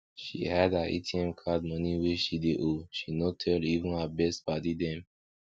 she hide her atm card moni wey she dey owe she no tell even her best padi dem